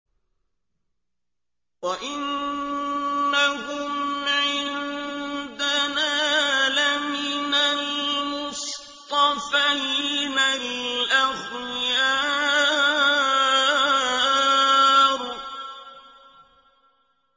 وَإِنَّهُمْ عِندَنَا لَمِنَ الْمُصْطَفَيْنَ الْأَخْيَارِ